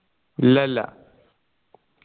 ഇല്ലയില്ല